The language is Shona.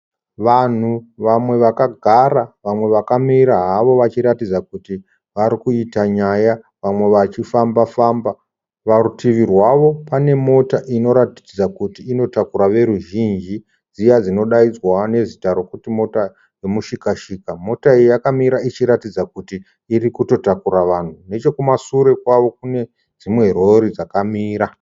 Vanhu vamwe vakagara, vamwe vakamira havo vachiratidza kuti varikuita nyaya. Vamwe vachifamba famba. Parutivi rwavo pane mota inoratidza kuti inotakura veruzhinji, dziya dzinodaidzwa nezita rokuti mota yemushikashika. Mota iyi yakamira ichiratidza kuti irikutotakura vanhu. Nechekumashure kwavo kune dzimwe rori dzakamira.